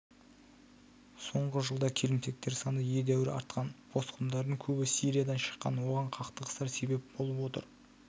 соңғы жылда келімсектер саны едәуір артқан босқындардың көбі сириядан шыққан оған қақтығыстар себеп болып отыр